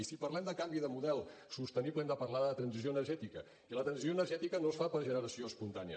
i si parlem de canvi de model sostenible hem de parlar de transició energètica i la transició energètica no es fa per generació espontània